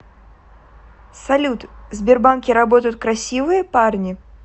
салют в сбербанке работают красивые парни